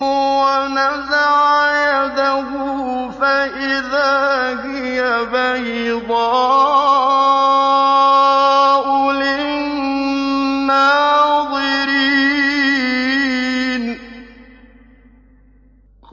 وَنَزَعَ يَدَهُ فَإِذَا هِيَ بَيْضَاءُ لِلنَّاظِرِينَ